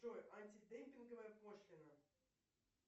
джой антидемпинговая пошлина